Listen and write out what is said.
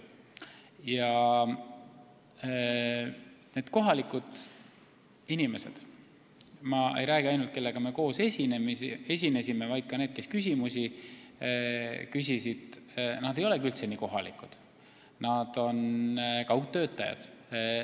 Ja need kohalikud inimesed – ma ei räägi ainult nendest, kellega ma koos esinesin, vaid ka nendest, kes küsimusi küsisid – ei olegi üldse nii kohalikud, nad on kaugtöötajad.